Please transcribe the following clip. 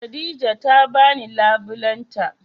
Khadijah ta bani labulen ta